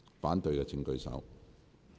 反對的請舉手。